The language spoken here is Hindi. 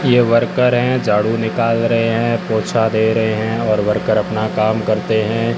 ये वर्कर हैं झाड़ू निकाल रहे हैं पोछा दे रहे हैं और वर्कर अपना काम करते हैं।